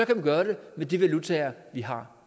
gøre det med de valutaer vi har